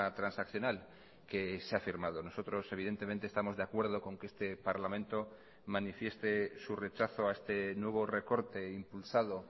transaccional que se ha firmado nosotros evidentemente estamos de acuerdo con que este parlamento manifieste su rechazo a este nuevo recorte impulsado